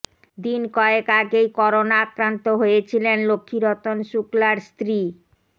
দিন কয়েক আগেই করোনা আক্রান্ত হয়েছিলেন লক্ষ্মীরতন শুক্লার স্ত্রী